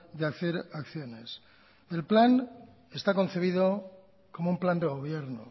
de hacer acciones el plan está concebido como un plan de gobierno